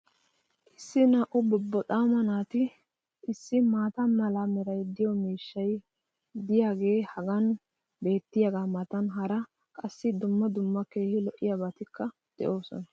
Issi naa"u bobboxaama naati issi maata mala meray de'iyo miishshay diyaagee hagan beetiyaagaa matan hara qassi dumma dumma keehi lo'iyaabatikka de'oosona.